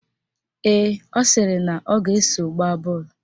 Ee, ọ sịrị na ọ ga-eso gbaa bọọlụ